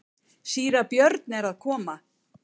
Síra Björn er að koma!